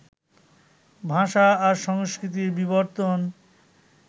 ভাষা আর সংস্কৃতির বিবর্তন